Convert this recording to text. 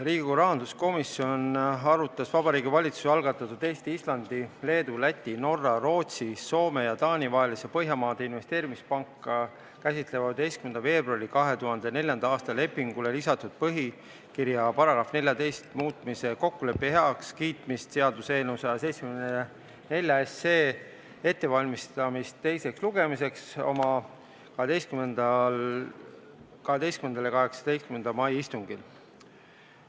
Riigikogu rahanduskomisjon arutas Vabariigi Valitsuse algatatud Eesti, Islandi, Leedu, Läti, Norra, Rootsi, Soome ja Taani vahelisele Põhjamaade Investeerimispanka käsitlevale 15. veebruari 2004. aasta lepingule lisatud põhikirja paragrahvi 14 muutmise kokkuleppe heakskiitmise seaduse eelnõu ettevalmistamist teiseks lugemiseks oma 12. ja 18. mai istungil.